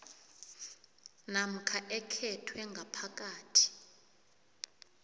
namkha ekhethwe ngaphasi